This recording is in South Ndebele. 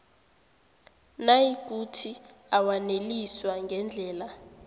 nayikuthi awaneliswa ngendlela